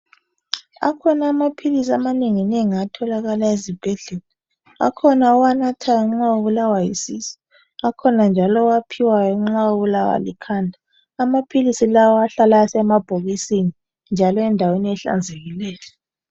Akhona amaphilisi amanengi nengi atholakala ezibhedlela Akhona owanathayo nxa ubulawa yisisu .Akhona njalo owaphiwayo nxa ubulawa likhanda .Amaphilisi lawa ahlala esemabhokisini njalo endaweni ehlanzekileyo.